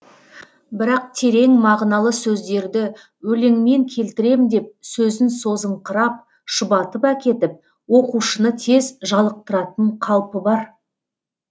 бірақ терең мағыналы сөздерді өлеңмен келтірем деп сөзін созыңқырап шұбатып әкетіп оқушыны тез жалықтыратын қалпы бар